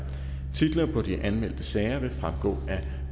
titlerne på de anmeldte sager vil fremgå af